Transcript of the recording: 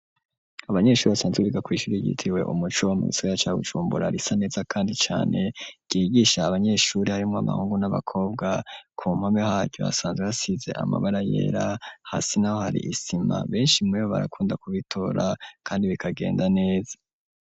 Abanyeshuri basanzwe biga kw'ishuri ryitiriwe umuco, mu gisagara ca Bujumbura, risa neza kandi cane, ryigisha abanyeshuri harimwo abahungu n'abakobwa, ku mpome haryo hasanzwe hasize amabara yera, hasi naho hari isima, benshi muri bo barakunda kubitora kandi bikagenda neza.